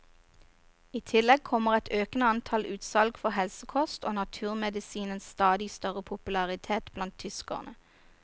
I tillegg kommer et økende antall utsalg for helsekost og naturmedisinens stadig større popularitet blant tyskerne.